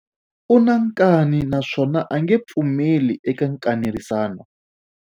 U na nkani naswona a nge pfumeli eka nkanerisano.